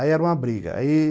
Aí era uma briga aí